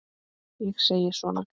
Ég segi svona.